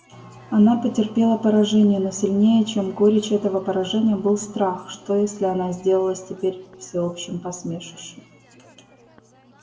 она потерпела поражение но сильнее чем горечь этого поражения был страх что если она сделалась теперь всеобщим посмешищем